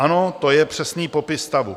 Ano, to je přesný popis stavu.